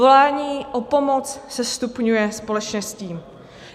Volání o pomoc se stupňuje společně s tím.